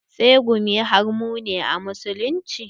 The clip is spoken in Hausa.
Tsegumi haramun ne a musulunci.